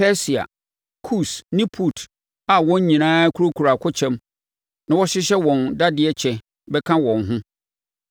Persia, Kus ne Put a wɔn nyinaa kurakura akokyɛm na wɔhyehyɛ wɔn dadeɛ kyɛ bɛka wɔn ho,